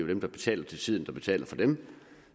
dem der betaler til tiden der betaler for dem